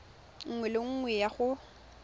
nngwe le nngwe ya go